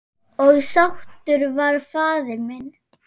Og sáttur var faðir minn.